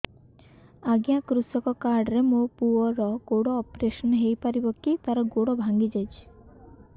ଅଜ୍ଞା କୃଷକ କାର୍ଡ ରେ ମୋର ପୁଅର ଗୋଡ ଅପେରସନ ହୋଇପାରିବ କି ତାର ଗୋଡ ଭାଙ୍ଗି ଯାଇଛ